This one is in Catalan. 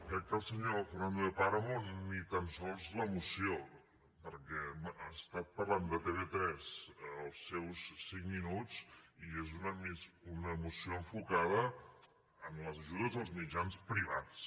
crec que el senyor fernando de páramo ni tan sols la moció perquè bé ha estat parlant de tv3 els seus cinc minuts i és una moció enfocada en les ajudes als mitjans privats